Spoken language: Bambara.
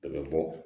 Dɔ bɛ bɔ